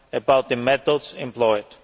about the methods employed.